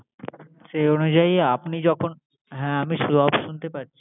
সেই অনুযায়ী আপনি যখন হ্যা সব